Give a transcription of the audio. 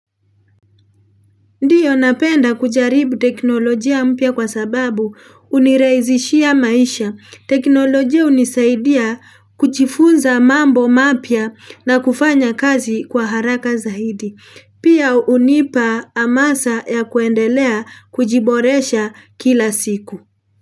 Ndio napenda kujaribu teknolojia mpya kwa sababu hunirahisishia maisha. Teknolojia unisaidia kujifunza mambo mapya na kufanya kazi kwa haraka zaidi. Pia unipa amasa ya kuendelea kujiboresha kila siku.